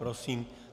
Prosím.